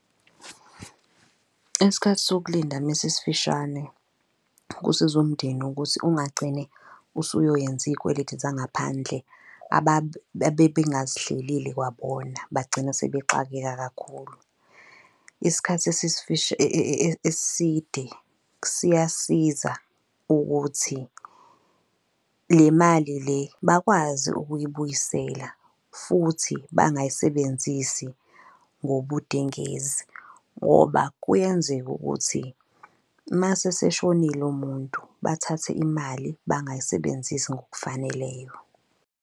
Isikhathi sokulinda mesisifishane kusiza umndeni ukuthi ungagcini usuyoyenza iy'kweleti zangaphandle abebengazihlelile, kwabona bagcina sebexakeka kakhulu. Isikhathi eside siyasiza ukuthi le mali le bakwazi ukuyibuyisela futhi bangayisebenzisi ngobudengezi ngoba kuyenzeka ukuthi mase eseshonile umuntu bathathe imali bangayisebenzisi ngokufaneleyo.